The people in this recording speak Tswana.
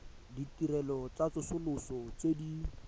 ditirelo tsa tsosoloso tse di